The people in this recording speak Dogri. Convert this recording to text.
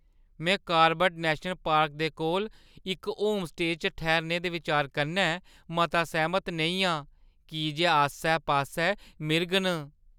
में कॉर्बेट नैशनल पार्क दे कोल इक होमस्टेऽ च ठैह्‌रने दे बिचार कन्नै मता सैह्‌मत नेईं आं की जे आस्सै-पास्सै मिरग न।